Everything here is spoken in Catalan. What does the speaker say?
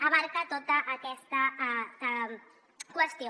abasta tota aquesta qüestió